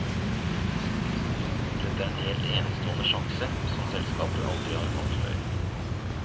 Dette er en helt enestående sjanse som selskapet aldri har hatt før.